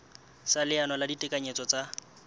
sa leano la ditekanyetso tsa